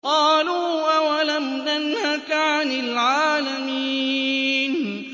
قَالُوا أَوَلَمْ نَنْهَكَ عَنِ الْعَالَمِينَ